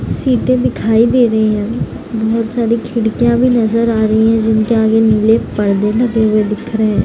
सीटें दिखाई दे रही है बहोत सारे खिड़कियाँ भी नजर आ रही है जिनके आगे नीले पर्दे लगे हुए दिख रहे --